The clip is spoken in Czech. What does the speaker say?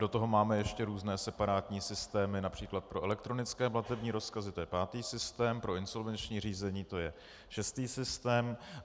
Do toho máme ještě různé separátní systémy například pro elektronické platební rozkazy, to je pátý systém, pro insolvenční řízení, to je šestý systém.